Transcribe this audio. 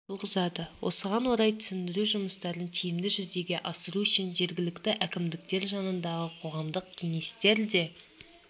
туғызады осыған орай түсіндіру жұмыстарын тиімді жүзеге асыру үшін жергілікті әкімдіктер жанындағы қоғамдық кеңестер де